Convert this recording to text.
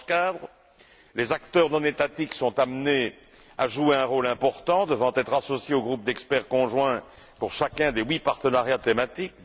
Dans ce cadre, les acteurs non étatiques sont amenés à jouer un rôle important devant être associé au groupe d'experts conjoints pour chacun des huit partenariats thématiques.